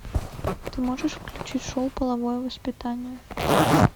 ты можешь включить шоу половое воспитание